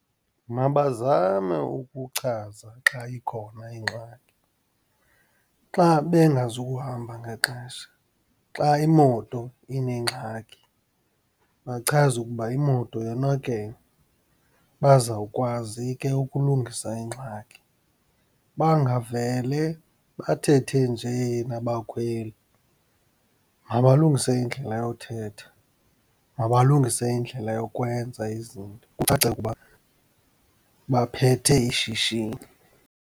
Mabazame ukuchaza xayikhona ingxaki, xa bengazukuhamba ngexesha, xa imoto inengxaki bachaze ukuba imoto yonakele, bazawukwazi ke ukulungisa ingxaki. Bangavele bathethe nje nabakhweli, mabalungise indlela yothetha, mabalungise indlela yokwenza izinto kucace ukuba baphethe ishishini.